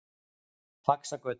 Faxagötu